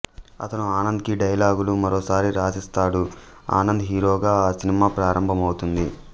అతను ఆనంద్ కి డైలాగులు మరోసారి రాసిస్తాడు ఆనంద్ హీరోగా ఆ సినిమా ప్రారంభమవుతుంది